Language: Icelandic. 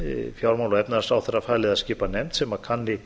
fjármála og efnahagsráðherra falið að skipa nefnd sem kanni